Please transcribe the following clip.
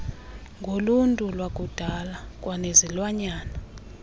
ngoluntu lwakudala kwanezilwanyana